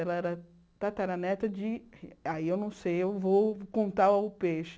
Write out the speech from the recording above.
Ela era tataraneta de... aí eu não sei, eu vou contar o peixe.